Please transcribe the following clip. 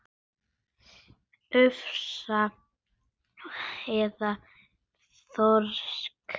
Ufsa eða þorska?